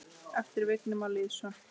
eftir Vigni Má Lýðsson